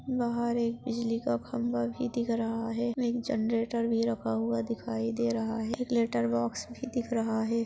बाहर एक बिजली का खंबा भी दिख रहा है एक जनरेटर भी रखा हुआ दिखाई दे रहा एक लेटर बॉक्स भी दिख रहा है।